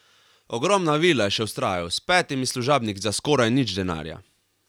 Ogromna vila, je še vztrajal, s petimi služabniki za skoraj nič denarja.